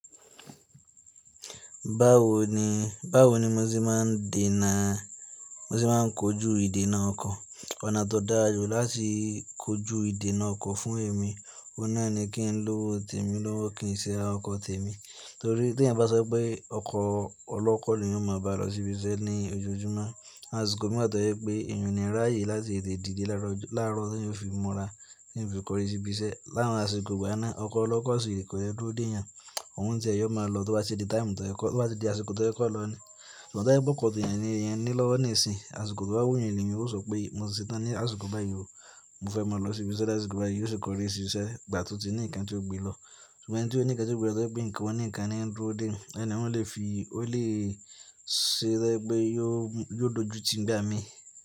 Báwo ni, báwo ni mo ti máa ń dènà, mo ti máa ń kojú ìdènà ọkọ̀? Ọ̀nà tó dára jù láti kojú ìdènà ọkọ̀ fún èmi, òun náà ni kí n lò temi, lọwọ sì ara ọkọ̀ temi. Torí tí eeyan bá sọ pé ọkọ̀ ọlọ́kọ́ ni eeyan ó máa bá lọ ṣíbiṣẹ́ ní ojoojúmọ́, àṣìkò mi máa tó yẹ pé èèyàn ni ráyè láti tètè dìde láàárọ̀ tí n fi mọra, tí n fi korí ṣíbiṣẹ́. Láàárín àsìkò gbá náà, ọkọ̀ ọlọ́kọ́ sì kò yẹ dúró dèyàn, òun tẹ̀ẹ́ yóò máa lọ tó bá ṣe dé táìmù tó kọ́, tó bá ṣe dé àsìkò tó yẹ kó lọ ni. Ṣùgbọ́n tí o bá kó tẹ̀yàn ní, ìyẹn ni lọ́wọ́ ní ìsìn. Àṣìkò tó bá wù èèyàn ni, yóò sọ pé mo ti ṣetán ní àsìkò báyìí o, mo fẹ́ máa lọ ṣíbiṣẹ́ ní àsìkò báyìí, yóò sì korí ṣíṣe gbà tó ti ní nǹkan tí ó gbilọ. Ṣùgbọ́n ẹni tí ó ní nǹkan tí ó gbelọ tó pé nǹkan ní ń dúró dè ni, ó lè fi, ó lè ṣẹ jẹ pé yóò dojú ti ńgba mi.